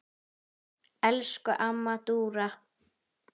Elsku amma Dúra.